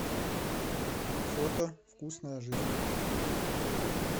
фото вкусная жизнь